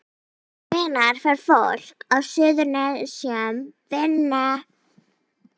Hvenær fær fólk á Suðurnesjum vinnu?